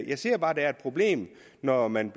jeg ser bare at der er et problem når man